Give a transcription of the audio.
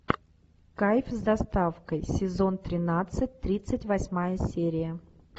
кайф с доставкой сезон тринадцать тридцать восьмая серия